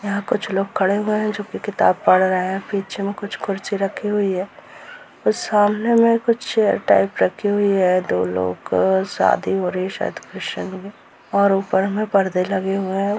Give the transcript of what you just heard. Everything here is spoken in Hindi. यहां कुछ लोग खड़े हुए हैं किताब पढ़ रहा है पीछे में कुछ कुर्सी रखी हुई है अ सामने में कुछ रखी हुई है दो लोग शादी हो रही है शायद क्रिश्चियन में और ऊपर हमें परदे लगे हुए हैं।